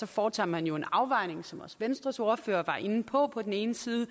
foretager man jo en afvejning som også venstres ordfører var inde på på den ene side